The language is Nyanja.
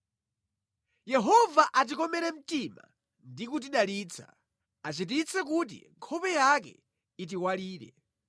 Yehova atikomere mtima ndi kutidalitsa, achititse kuti nkhope yake itiwalire.